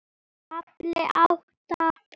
KAFLI ÁTTA